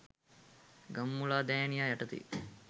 ගම්මුලාදෑනියා යටතේ